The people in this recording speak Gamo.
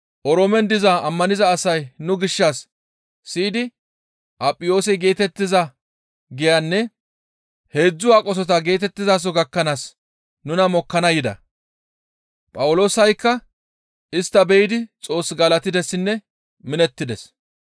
Oroomen diza ammaniza asay nu gishshas siyidi Apiyoose geetettiza giyanne «Heedzdzu Aqosota» geetettizaso gakkanaas nuna mokkana yida; Phawuloosaykka istta be7idi Xoos galatidessinne minettides.